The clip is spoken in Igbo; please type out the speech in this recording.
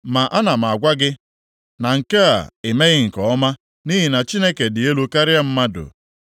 “Ma ana m agwa gị, na nke a i meghị nke ọma, nʼihi na Chineke dị elu karịa mmadụ.